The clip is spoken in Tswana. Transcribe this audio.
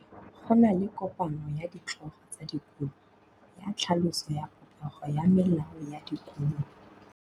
Go na le kopanô ya ditlhogo tsa dikolo ya tlhaloso ya popêgô ya melao ya dikolo.